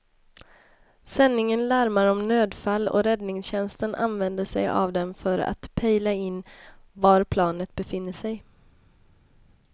Sändningen larmar om nödfall och räddningstjänsten använder sig av den för att pejla in var planet befinner sig.